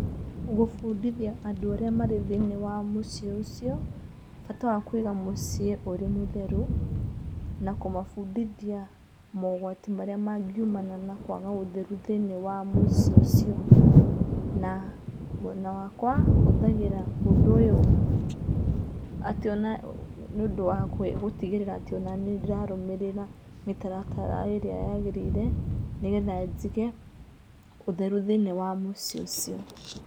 Gũbundithia andũ arĩa marĩ thĩinĩ wa mũciĩ ũcio, bata wa kũiga mũciĩ ũrĩ mũtheru, na kũmabundithia mogwati marĩa mangiumana na kwaga ũtheru thĩinĩ wa mũciĩ ũcio. Na mwena wakwa huthagĩra ũndũ ũyũ atĩ ona nĩũndũ wa gũtigĩrĩra onaniĩ nĩndĩrarũmĩrĩra mĩtaratara ĩría yagĩrĩire, nĩgetha njige ũtheru thĩinĩ wa mũciĩ ũcio.